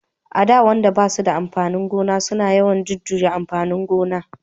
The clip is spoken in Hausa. a da wayanda ba su da babban gona suna yawan jujuyan amfanin gona